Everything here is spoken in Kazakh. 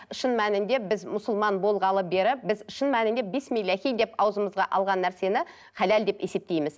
шын мәнінде біз мұсылман болғалы бері біз шын мәнінде бисмилляхи деп аузымызға алған нәрсені халал деп есептейміз